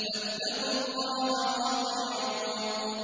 فَاتَّقُوا اللَّهَ وَأَطِيعُونِ